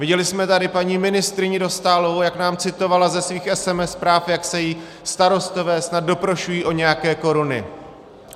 Viděli jsme tady paní ministryni Dostálovou, jak nám citovala ze svých SMS zpráv, jak se jí starostové snad doprošují o nějaké koruny.